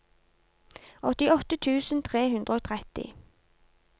åttiåtte tusen tre hundre og tretti